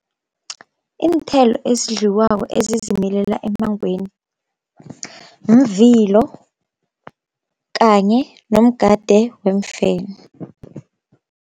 Iinthelo ezidliwako ezizimilela emangweni mvilo kanye nomgade wemfene.